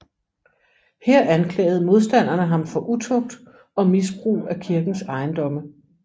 Her anklagede modstanderne ham for utugt og misbrug af kirkens ejendomme